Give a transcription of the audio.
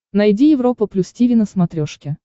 найди европа плюс тиви на смотрешке